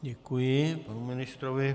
Děkuji panu ministrovi.